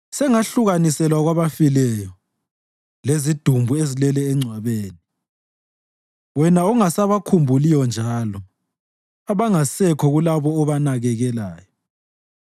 Sengahlukaniselwe kwabafileyo, lezidumbu ezilele engcwabeni, wena ongasabakhumbuliyo njalo, abangasekho kulabo obanakekelayo.